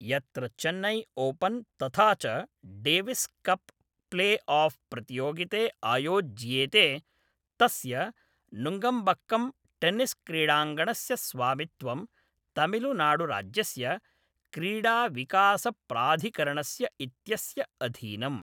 यत्र चेन्नै ओपन् तथा च डेविस् कप् प्ले आफ् प्रतियोगिते आयोज्येते तस्य नुङ्गम्बक्कम् टेनिस् क्रीडाङ्गणस्य स्वामित्वं तमिळुनाडुराज्यस्य क्रीडाविकासप्राधिकरणस्य इत्यस्य अधीनम्।